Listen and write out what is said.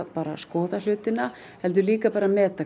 skoða hlutina heldur líka bara að meta